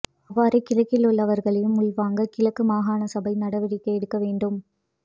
அவ்வாறே கிழக்கிலுள்ளவர்களையும் உள்வாங்க கிழக்கு மாகாண சபை நடவடிக்கை எடுக்க வேண்டும்